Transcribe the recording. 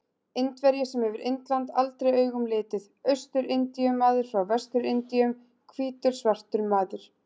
Indverji sem hefur Indland aldrei augum litið, Austur-Indíu-maður frá Vestur-Indíum, hvítur svartur maður.